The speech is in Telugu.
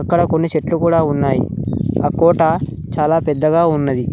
ఇక్కడ కొన్ని చెట్లు కూడా ఉన్నాయి ఆ కోట చాలా పెద్దగా ఉన్నది.